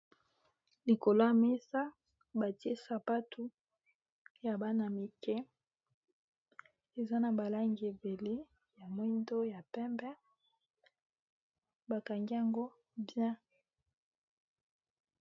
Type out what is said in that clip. likolo ya mesa batie sapatu ya bana mike eza na balangi ebele ya moindo ya pembe bakangi yango bien